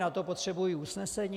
Na to potřebují usnesení?